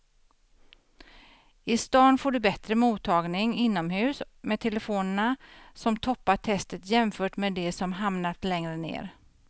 I stan får du bättre mottagning inomhus med telefonerna som toppar testet jämfört med de som hamnat längre ner.